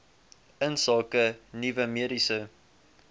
insake nuwe mediese